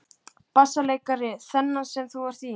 BASSALEIKARI: Þennan sem þú ert í?